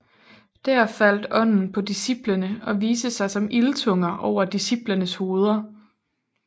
Der faldt ånden på disciplene og viste sig som ildtunger over disciplenes hoveder